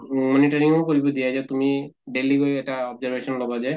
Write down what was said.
ম monitoring ও কৰিব দিয়ে যে তুমি daily গৈ এটা observation লʼবা যে